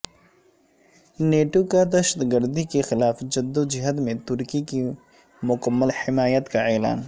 نیٹوکا دہشت گردی کے خلاف جدو جہد میں ترکی کی مکمل حمایت کا اعلان